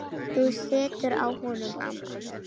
Þú situr á honum, amma!